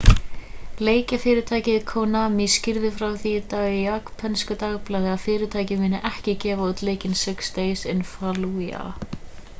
leikjafyrirtækið konami skýrði frá því í dag í japönsku dagblaði að fyrirtækið muni ekki gefa út leikinn six days in fallujah